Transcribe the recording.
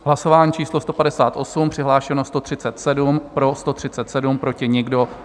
Hlasování číslo 158, přihlášeno 137, pro 137, proti nikdo.